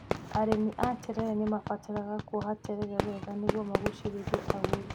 Arĩmi a terere nĩ mabataraga kuoha terere wega nĩguo magucĩrĩrie agũri.